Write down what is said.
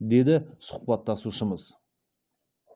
деді сұхбаттасушымыз